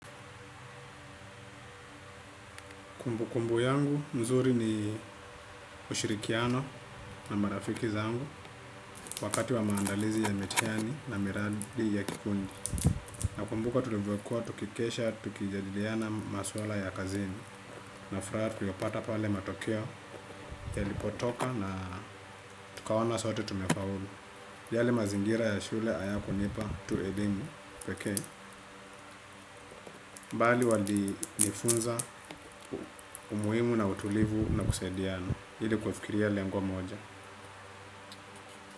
Kumbukumbu yangu, mzuri ni ushirikiano na marafiki zangu. Wakati wa maandalizi ya mitihani na miradi ya kikundi nakumbuka tulivyokua, tukikesha tukijadidiana maswala ya kazini. Na furaha tuliyopata pale matokeo yalipotoka na tukaona sote tumefaulu. Yale mazingira ya shule hayakunipa tu eimu pekee bali walinifunza umuhimu na utulivu na kusaidiana iili kufikiria lengo moja.